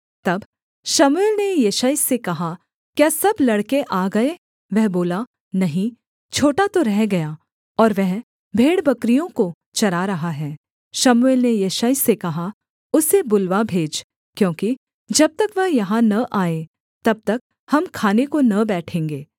तब शमूएल ने यिशै से कहा क्या सब लड़के आ गए वह बोला नहीं छोटा तो रह गया और वह भेड़बकरियों को चरा रहा है शमूएल ने यिशै से कहा उसे बुलवा भेज क्योंकि जब तक वह यहाँ न आए तब तक हम खाने को न बैठेंगे